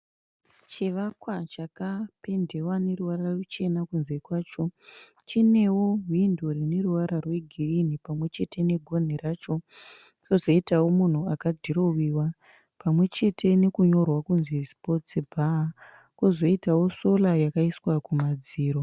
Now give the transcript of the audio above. Chivakwa chakapendewa neruvara ruchena kunze kwacho. Chinewo hwindo rineruvara rwegirinhi pamwechete negonhi racho. Pozoitawo munhu akadhiroviwa pamwechete nekunyorwa kunzi sipotsi bhaa. Pozoitowo sora yakaiswa kumadziro.